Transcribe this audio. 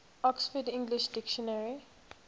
oxford english dictionary